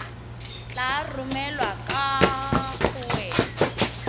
tla romelwa kwa go wena